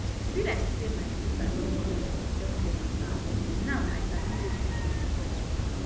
e be like say my sista don craze for selfcare matter now i sabi wetin she dey talk